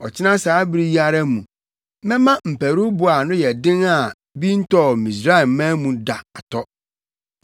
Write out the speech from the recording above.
Ɔkyena saa bere yi ara mu, mɛma mparuwbo a ano yɛ den a bi ntɔɔ Misraimman mu da atɔ.